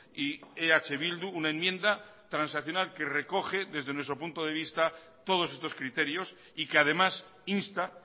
y eh bildu una enmienda transaccional que recoge desde nuestro punto de vista todos estos criterios y que además insta